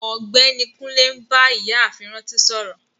Ọgbẹni Kùnlé n bá Ìyààfin Rántí sọ̀rọ.